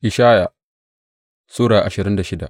Ishaya Sura ashirin da shida